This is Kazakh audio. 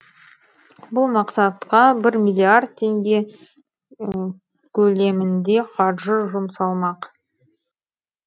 бұл мақсатқа бір миллиард теңге көлемінде қаржы жұмсалмақ